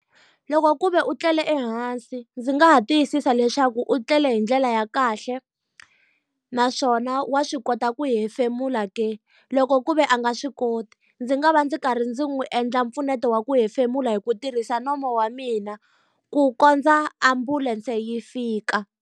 Loko ku ve u tlele ehansi ndzi nga ha tiyisisa leswaku u tlele hi ndlela ya kahle, naswona wa swi kota ku hefemula ke. Loko ku ve a nga swi koti, ndzi nga va ndzi karhi ndzi n'wi endla mpfuneto wa ku hefemula hi ku tirhisa nomo wa mina, ku kondza ambulense yi fika.